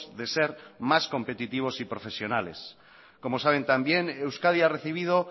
de ser más competitivos y profesionales como saben también euskadi ha recibido